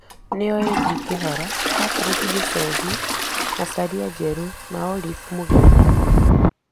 Nĩo AG Kĩhara, Patrick Gĩchohi, Macharia Njerũ na Olive Mũgenda.